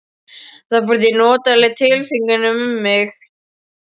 Það fór því notaleg tilfinning um mig.